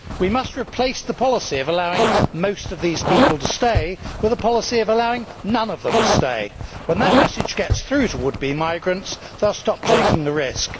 We must replace the policy of allowing most of these people to stay with a policy of allowing none of them to stay. When that message gets through to would be migrants, they will stop taking the risk.